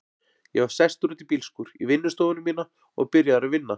Ég var sestur út í bílskúr, í vinnustofuna mína, og byrjaður að vinna.